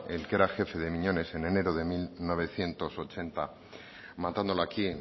el que era jefe de miñones en enero de mil novecientos ochenta matándolo aquí